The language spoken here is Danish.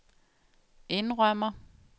indrømmer